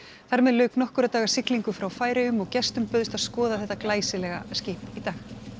þar með lauk nokkurra daga siglingu frá Færeyjum og gestum bauðst að skoða þetta glæsilega skip í dag